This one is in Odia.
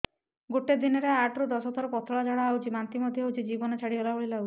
ଗୋଟେ ଦିନରେ ଆଠ ରୁ ଦଶ ଥର ପତଳା ଝାଡା ହେଉଛି ବାନ୍ତି ମଧ୍ୟ ହେଉଛି ଜୀବନ ଛାଡିଗଲା ଭଳି ଲଗୁଛି